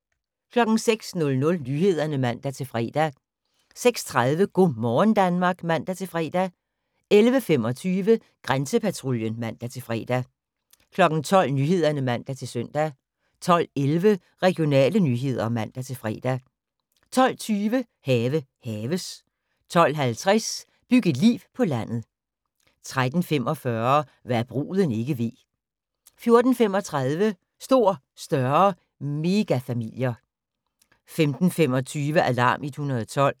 06:00: Nyhederne (man-fre) 06:30: Go' morgen Danmark (man-fre) 11:25: Grænsepatruljen (man-fre) 12:00: Nyhederne (man-søn) 12:11: Regionale nyheder (man-fre) 12:20: Have haves 12:50: Byg et liv på landet 13:45: Hva' bruden ikke ved 14:35: Stor, større – megafamilier 15:25: Alarm 112